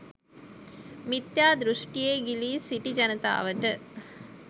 මිථ්‍යා දෘෂ්ඨීයේ ගිලී සිටි ජනතාවට